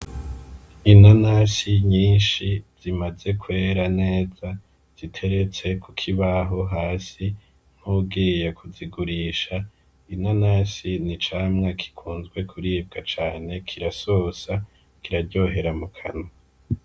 Inanasi nyinshi zimaze kwera neza ziteretse kukibaho hasi nkuwugiye kuzigurisha, inanasi ni icamwa gikunzwe kuribwa cane kirasosa kiraryohera mu kanwa.